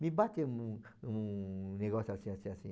Me bateu um um negócio assim, assim, assim.